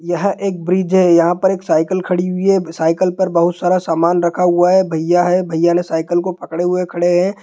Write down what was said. यह एक ब्रिज है| यहाँ पर एक साइकिल खड़ी हुई है साइकिल पर बहुत सारा समान रखा हुआ है| भैया है भैया ने साइकिल को पकड़े हुए खड़े है।